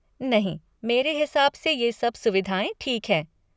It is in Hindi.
नहीं मेरे हिसाब से ये सब सुविधाएँ ठीक है।